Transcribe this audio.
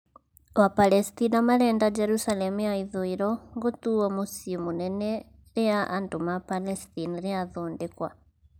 Wapalestina marenda Jerusalem ya ithũĩro gũtuo mũcĩĩ mũnene rĩa andũ ma Palestine rĩathondekwa